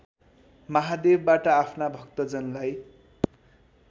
महादेवबाट आफ्ना भक्तजनलाई